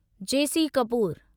जे C Kapoor